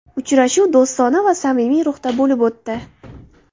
Uchrashuv do‘stona va samimiy ruhda bo‘lib o‘tdi.